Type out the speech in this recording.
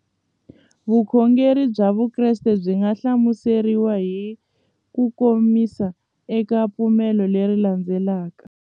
Vukhongeri bya Vukreste byi nga hlamuseriwa hi kukomisa eka ku pfumela leswi landzelaka.